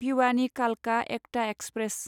भिवानि कालका एकता एक्सप्रेस